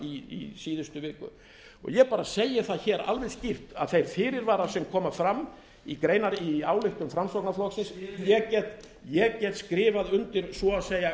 í síðustu viku og ég segi það alveg skýrt að þeir fyrirvarar sem koma fram í ályktun framsóknarflokksins ég get skrifað undir svo að segja